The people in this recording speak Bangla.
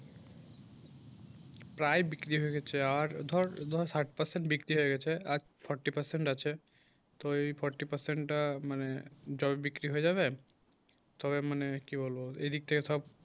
প্রায় বিক্রি হয়ে গেছে আর ধর সাইট percent বিক্রি হয়ে গেছে আর ফরটি percent আছে তো ওই ফোরটি percent মানে ধর বিক্রি হয়ে যাবে তো মানে কি বলবো এই দিক থেকে সব